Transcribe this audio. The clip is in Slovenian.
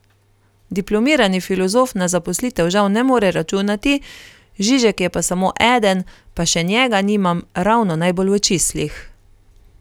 Diplomirani filozof na zaposlitev žal ne more računati, Žižek je pa samo eden, pa še njega nimam ravno najbolj v čislih.